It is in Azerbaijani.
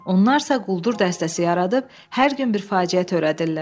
Onlar isə quldur dəstəsi yaradıb, hər gün bir faciə törədirlər.